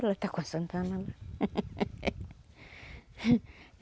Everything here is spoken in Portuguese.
Ela está com a Santa Ana.